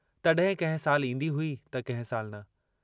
तॾहिं कंहिं साल ईंदी हुई त कंहिं साल न।